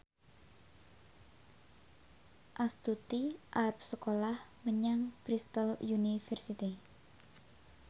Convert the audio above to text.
Astuti arep sekolah menyang Bristol university